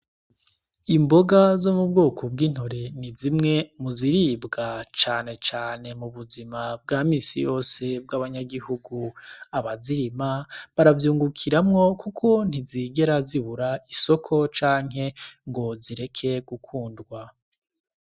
Imboga zo mu bwoko bw'intore ni zimwe muziribwa canecane mu buzima bwamisi yose bw'abanyagihugu, abazirima baravyungukiramwo, kuko ntizigera zibura isoko canke ngo zireke gukundwa.